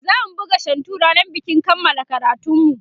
zamu buga shantu rannan bikin kanmala karatunmu